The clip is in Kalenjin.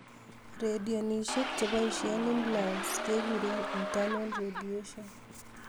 Radiationishek cheboishe implants kekuree internal radiation